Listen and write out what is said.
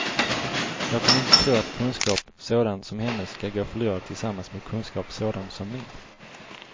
Jag kan inte tro att kunskap sådan som hennes ska gå förlorad tillsammans med kunskap sådan som min.